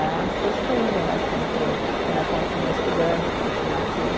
Né, as coisas fluíram, assim, para eu né, continuar estudando, continuar aqui.